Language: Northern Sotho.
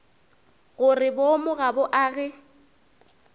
gore boomo ga bo age